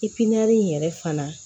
in yɛrɛ fana